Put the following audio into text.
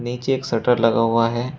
नीचे एक शटर लगा हुआ है।